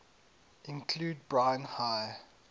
include brine high